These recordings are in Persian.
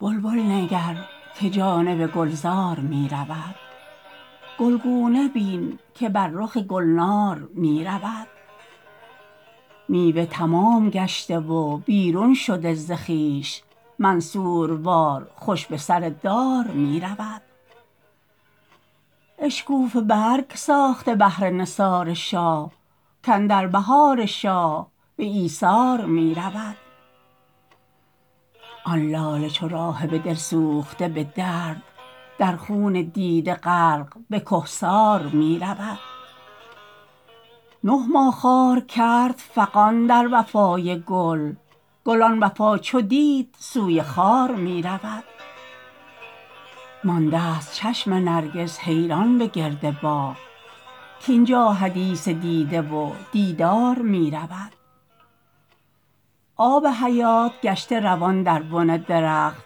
بلبل نگر که جانب گلزار می رود گلگونه بین که بر رخ گلنار می رود میوه تمام گشته و بیرون شده ز خویش منصوروار خوش به سر دار می رود اشکوفه برگ ساخته نهر نثار شاه کاندر بهار شاه به ایثار می رود آن لاله ای چو راهب دل سوخته بدرد در خون دیده غرق به کهسار می رود نه ماه خار کرد فغان در وفای گل گل آن وفا چو دید سوی خار می رود ماندست چشم نرگس حیران به گرد باغ کاین جا حدیث دیده و دیدار می رود آب حیات گشته روان در بن درخت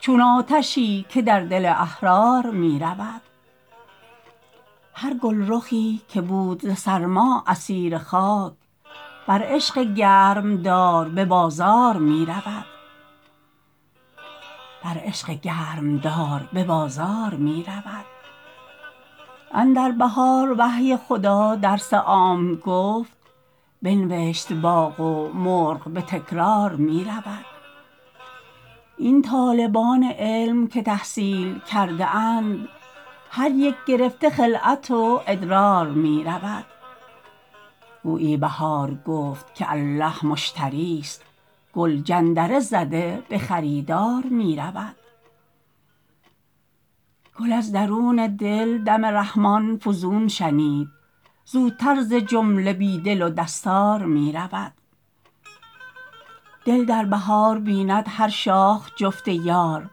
چون آتشی که در دل احرار می رود هر گلرخی که بود ز سرما اسیر خاک بر عشق گرمدار به بازار می رود اندر بهار وحی خدا درس عام گفت بنوشت باغ و مرغ به تکرار می رود این طالبان علم که تحصیل کرده اند هر یک گرفته خلعت و ادرار می رود گویی بهار گفت که الله مشتریست گل جندره زده به خریدار می رود گل از درون دل دم رحمان فزون شنید زودتر ز جمله بی دل و دستار می رود دل در بهار بیند هر شاخ جفت یار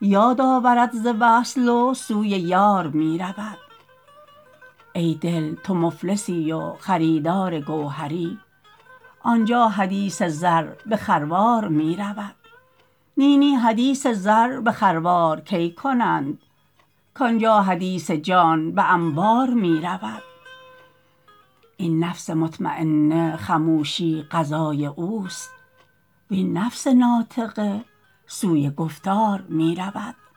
یاد آورد ز وصل و سوی یار می رود ای دل تو مفلسی و خریدار گوهری آن جا حدیث زر به خروار می رود نی نی حدیث زر به خروار کی کنند کان جا حدیث جان به انبار می رود این نفس مطمینه خموشی غذای اوست وین نفس ناطقه سوی گفتار می رود